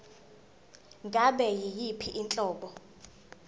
ngabe yiyiphi inhlobo